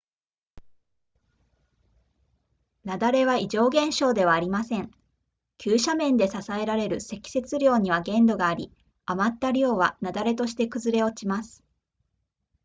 雪崩は異常現象ではありません急斜面で支えられる積雪量には限度があり余った量は雪崩として崩れ落ちます